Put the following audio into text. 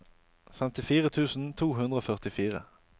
femtifire tusen to hundre og førtifire